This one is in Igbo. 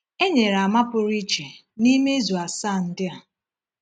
E nyere àmà pụrụ iche n’ime izu asaa ndị a.